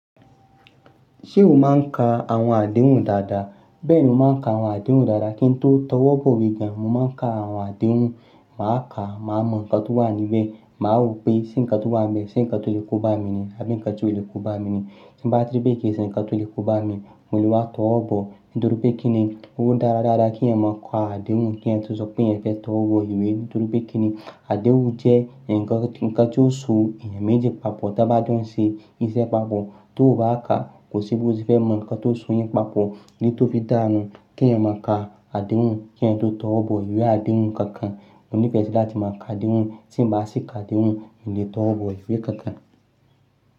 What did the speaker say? Ṣé o máa ń ka àwọn àdéhùn dáadáa? Bẹ́ẹ̀ni, mo máa ń ka àwọn àdéhùn dáadáa kí n tó tọwọ́ bọ̀ we gan. Mo máa ń ka àwọn àdéhùn, màá ka, màá mọ ǹkan tó wà níbẹ̀, màá wọ̀ pé ṣé ǹkan tó wà níbẹ̀ ṣé ǹkan tó lè kóbá mi ni àbí ǹkan tí kò lè kóbá mi ni. Tí bá ti rí pé kìí ṣe ǹkan tó lè kóbá mi, mo lè wá tọwọ́ bọ̀ nítorí pé kíni. Ó dára dáadáa kí ẹ̀yan máa ka àdéhùn kí ẹ̀yan tó sọ pé ẹ̀yan fẹ́ tọwọ́ bọ̀ ìwé nítorí pé kíni. Àdéhùn jẹ́ ǹkan tí ó so ènìyàn méjì papọ̀ tí wọ́n bá ń ṣe iṣẹ́ papọ̀. Tó o bá ka, kò sí bí o ṣe fẹ́ mọ ǹkan tó so yín papọ̀ oun tó fi dá a nù. Kí ẹ̀yin máa ka àdéhùn kí n tó tọwọ́ bọ̀ ìwé àdéhùn kankan. Mo ní ìfẹ́ sí láti máa ka àdéhùn tí bá sì ka àdéhùn mo lè tọwọ́ bọ̀ ìwé kankan.